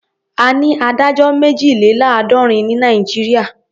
A ní adájọ́ méjìléláàádọ́rin ní Nàìjíríà.